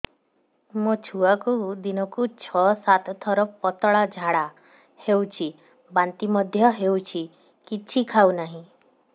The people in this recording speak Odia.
ମୋ ଛୁଆକୁ ଦିନକୁ ଛ ସାତ ଥର ପତଳା ଝାଡ଼ା ହେଉଛି ବାନ୍ତି ମଧ୍ୟ ହେଉଛି କିଛି ଖାଉ ନାହିଁ